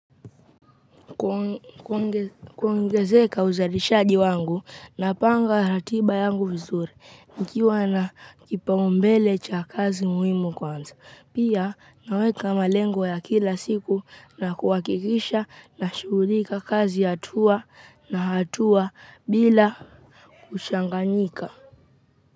Kuongezeka uzalishaji wangu na panga ratiba yangu vizuri, nikiwa na kipaumbele cha kazi muhimu kwanza. Pia, naweka malengo ya kila siku na kuhakikisha na shughulika kazi ya hatua na hatua bila kuchanganyika.